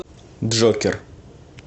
джокер